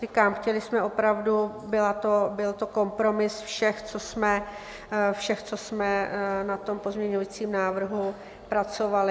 Říkám, chtěli jsme opravdu, byl to kompromis všech, co jsme na tom pozměňujícím návrhu pracovali.